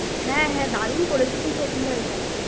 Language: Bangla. হ্যাঁ হ্যাঁ, দারুন করেছে কিন্তু অভিনয় টা।